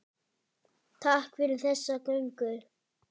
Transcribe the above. Takk fyrir þessa göngu.